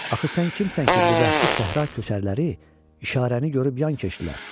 axı sən kimsən ki, bu vəhşi səhra köçəriləri işarəni görüb yan keçdilər?